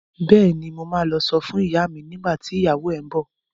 Bẹ́ẹ̀ni, mo ma lọ sọ fún ìyá mi nígbà tí ìyàwó ẹ ń bọ̀